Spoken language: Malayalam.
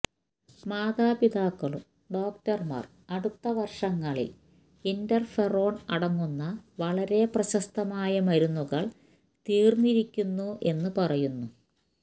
മാതാപിതാക്കളും ഡോക്ടർമാർ അടുത്ത വർഷങ്ങളിൽ ഇന്റർഫെറോൺ അടങ്ങുന്ന വളരെ പ്രശസ്തമായ മരുന്നുകൾ തീർന്നിരിക്കുന്നു എന്നു പറയുന്നു